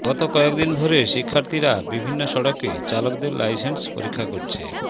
গত কয়েকদিন ধরে শিক্ষার্থীরা বিভিন্ন সড়কে চালকদের লাইসেন্স পরীক্ষা করছে